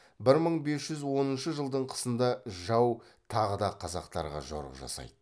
бір мың бес жүз оныншы жылдың қысында жау тағы да қазақтарға жорық жасайды